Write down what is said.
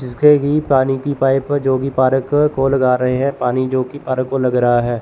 जिसके की पानी की पाइप जो कि पार्क को लगा रहे हैं पानी जो की पार्क को लग रहा है।